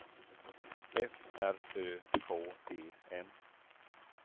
F R Ö K E N